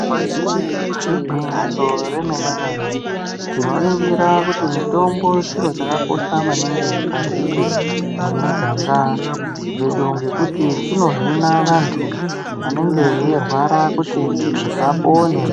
Igwinyiso remene-mene, tinoringira kuti mitombo chiro chakakosha maningi mukati mwemiganga dzedu ,ngekuti chinohina vantu vanenge veyirwara kuti vapone.